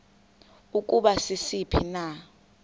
ukuba sisiphi na